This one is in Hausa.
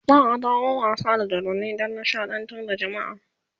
za'a dawo da wasa da dodanni Dan nishaɗantar da jamaa